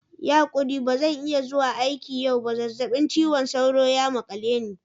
Yi hakuri ba zan iya zuwa aiki yau ba. zazzabin cizon sauro ya makale ni.